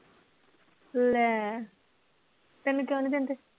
ਲੈ ਤੈਨੂੰ ਕਿਉਂ ਨੀ ਦਿੰਦੇ?